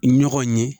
Ɲɔgɔn ye